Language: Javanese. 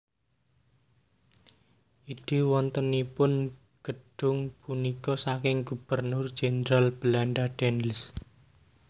Ide wontenipun gedhung punika saking Gubernur Jenderal Belanda Daendels